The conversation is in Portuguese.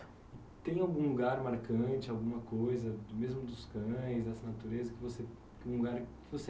Tem algum lugar marcante, alguma coisa, mesmo dos cães, dessa natureza, que você algum lugar que você